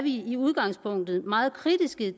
i udgangspunktet meget kritiske